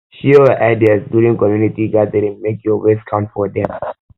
share your ideas during community gathering make your voice count for dem